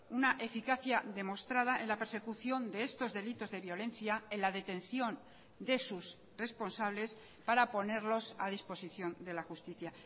una eficacia demostrada en la persecución de estos delitos de violencia en la detención de sus responsables para ponerlos a disposición de la justicia